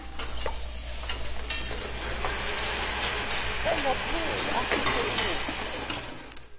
engapheli afise ukufana